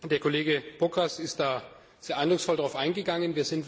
Der Kollege Bokros ist sehr eindrucksvoll darauf eingegangen.